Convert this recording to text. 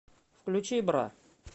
включи бра